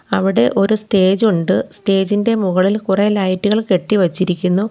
അവടെ ഒരു സ്റ്റേജ് ഉണ്ട് സ്റ്റേജ് ഇൻ്റെ മുകളിൽ കുറെ ലൈറ്റുകൾ കെട്ടി വെച്ചിരിക്കുന്നു.